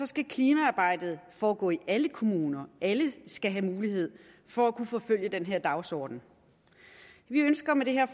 skal klimaarbejdet foregå i alle kommuner alle skal have mulighed for at kunne forfølge den her dagsorden vi ønsker med det her